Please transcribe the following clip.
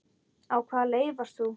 Á hvaða leið varst þú?